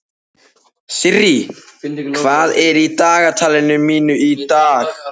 Sirrí, hvað er í dagatalinu mínu í dag?